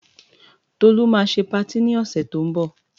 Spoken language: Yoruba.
Tolú máa ṣe patí ni ọ̀sẹ̀ tó ń bọ̀.